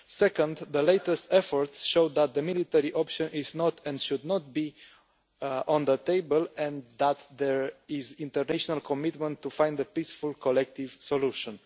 Secondly, the latest efforts showed that the military option is not and should not be on the table and that there is international commitment to find a peaceful collective solution.